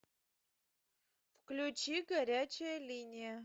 включи горячая линия